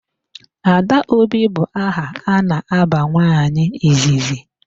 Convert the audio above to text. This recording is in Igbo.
Adaobi bụ aha a na-aba nwaanyị izizi.